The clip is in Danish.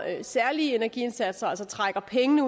særlige energiindsatser altså trækker pengene